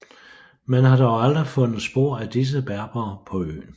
Man har dog aldrig fundet spor af disse berbere på øen